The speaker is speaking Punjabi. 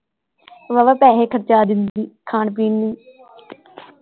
ਵਾਵਾ ਪੈਸੇ ਖਰਚ ਦਿੰਦੀ ਖਾਣ ਪੀਣ ਨੂੰ।